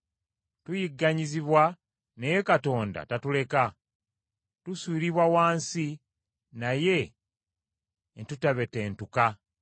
Tuyigganyizibwa, naye Katonda tatuleka. Tusuulibwa wansi, naye ne tutabetentuka,